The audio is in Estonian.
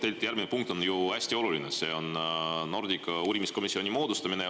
Tegelikult järgmine punkt on ju hästi oluline, see on Nordica uurimiskomisjoni moodustamine.